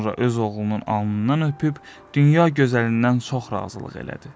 Sonra öz oğlunun alnından öpüb, dünya gözəlindən çox razılıq elədi.